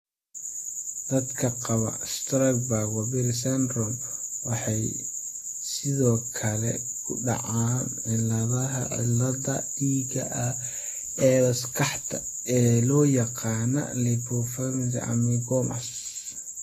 Dadka qaba Sturge Weber syndrome waxay sidoo kale ku dhacaan cilladaha xididdada dhiigga ee maskaxda ee loo yaqaan 'leptomeningeal angiomas'.